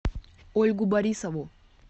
ольгу борисову